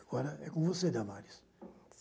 Agora é com você, Damaris.